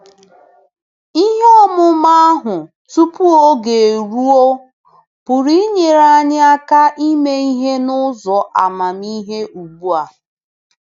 Ihe ọmụma ahụ tupu oge eruo pụrụ inyere anyị aka ime ihe n'ụzọ amamihe ugbu a.